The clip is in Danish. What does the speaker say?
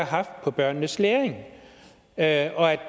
haft på børnenes læring og at